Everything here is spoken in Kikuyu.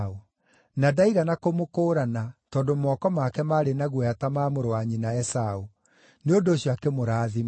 Na ndaigana kũmũkũũrana tondũ moko make maarĩ na guoya ta ma mũrũ wa nyina Esaũ; nĩ ũndũ ũcio akĩmũrathima.